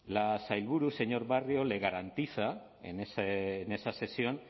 la sailburu señor barrio le garantiza en esa sesión